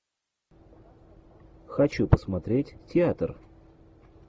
хочу посмотреть театр